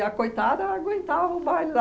a coitada aguentava o baile lá